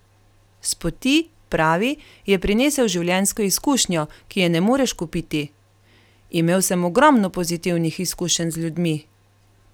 S poti, pravi, je prinesel življenjsko izkušnjo, ki je ne moreš kupiti: "Imel sem ogromno pozitivnih izkušenj z ljudmi.